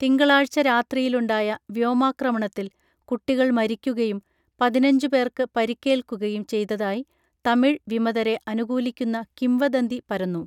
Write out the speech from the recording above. തിങ്കളാഴ്ച രാത്രിയിലുണ്ടായ വ്യോമാക്രമണത്തിൽ കുട്ടികൾ മരിക്കുകയും പതിനഞ്ചു പേർക്ക് പരിക്കേൽക്കുകയും ചെയ്തതായി തമിഴ് വിമതരെ അനുകൂലിക്കുന്ന കിംവദന്തി പരന്നു